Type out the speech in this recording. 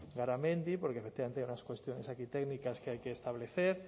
garamendi porque efectivamente hay unas cuestiones aquí técnicas que hay que establecer